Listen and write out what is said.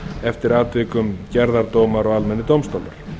eftir atvikum gerðardómar og almennir dómstólar